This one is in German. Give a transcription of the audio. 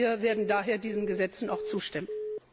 Wir werden daher diesen Gesetzen auch zustimmen.